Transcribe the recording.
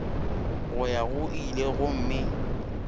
go ya go ile gomme